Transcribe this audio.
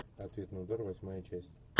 ответный удар восьмая часть